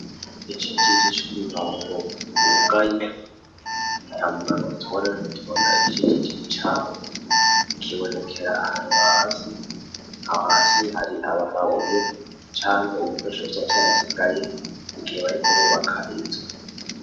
Icici gicumi mango wugaye namuragotoreragotbona icicijiji cabo kibonekera ahantu hasi hahasi hari abamabuye canke ubikwesho vyavy arasigaye igihe bari kububaka inzu.